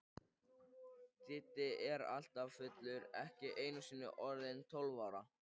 Diddi er alltaf fullur, ekki einusinni orðinn tólf ára.